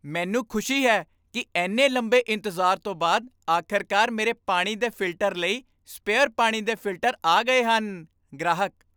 ਮੈਨੂੰ ਖੁਸ਼ੀ ਹੈ ਕੀ ਇੰਨੇ ਲੰਬੇ ਇੰਤਜ਼ਾਰ ਤੋਂ ਬਾਅਦ ਆਖ਼ਰਕਾਰ ਮੇਰੇ ਪਾਣੀ ਦੇ ਫਿਲਟਰ ਲਈ ਸਪੇਅਰ ਪਾਣੀ ਦੇ ਫਿਲਟਰ ਆ ਗਏ ਹਨ ਗ੍ਰਾਹਕ